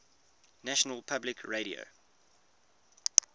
national public radio